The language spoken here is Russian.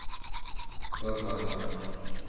тоже возможно